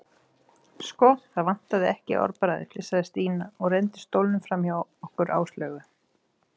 Sko, það vantar ekki orðbragðið flissaði Stína og renndi stólnum framhjá okkur Áslaugu.